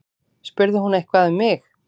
Spurði hún eitthvað um mig?